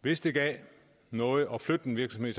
hvis det gav noget at flytte en virksomhed